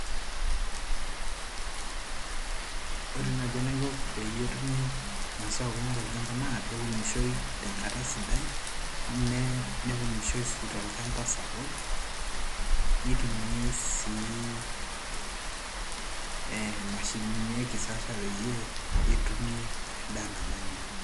Ore naaji enaiko peyie etumi imasaa kumok tolchamba naa peunioshoi tenkata sidai nee neunishoi sii tolchamba sapuk nitumiay sii ee imashinini e kisasa peetumi endaa nabanji.